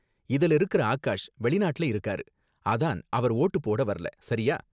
இதுல இருக்குற ஆகாஷ் வெளிநாட்டுல இருக்காரு, அதான் அவரு வோட்டு போட வரல, சரியா?